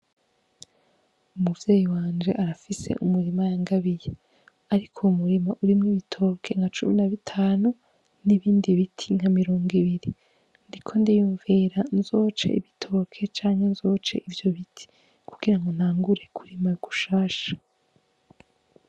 Umuvyeyi wanje arafise umurima yangabiye ,arik'uwo murima urimw'ibitoke nka cumi na bitanu, n'ibindi biti nka mirongibiri ndiko ndiyumvira nzoce ibitoke canke nzoce ivyo biti kugirango ntangure kurima gushasha.